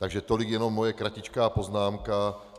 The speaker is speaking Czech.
Takže tolik jenom moje kratičká poznámka.